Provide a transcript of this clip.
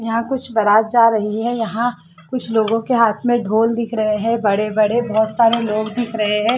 यहां कुछ बारात जा रही है यहां कुछ लोगों के हाथ में ढोल दिख रहे हैं बड़े-बड़े बहुत सारे लोग दिख रहे हैं।